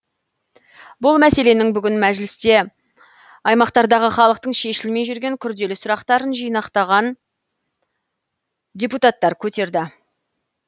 бұл мәселені бүгін мәжілісте аймақтардағы халықтың шешілмей жүрген күрделі сұрақтарын жинақтаған депутаттар көтерді